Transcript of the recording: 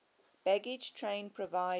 baggage train provided